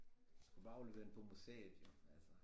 Du skulle bare aflevere den på museet jo altså